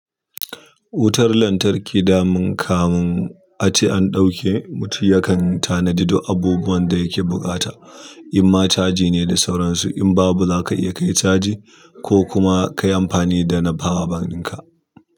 Wutar lantarki daman kamun ace an ɗauke, mutum yakan tanadi duk abubuwan da yake buƙata. In ma caji ne da sauransu in babu za ka iya kai caji ko kuma ka yi amfani da na power bank ɗinka.